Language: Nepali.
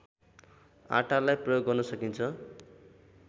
आटालाई प्रयोग गर्न सकिन्छ